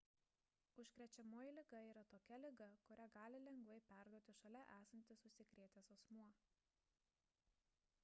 užkrečiamoji liga yra tokia liga kurią gali lengvai perduoti šalia esantis užsikrėtęs asmuo